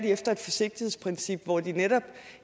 efter et forsigtighedsprincip hvor de netop